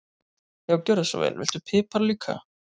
Já, gjörðu svo vel. Viltu pipar líka?